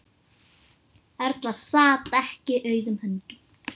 Erla sat ekki auðum höndum.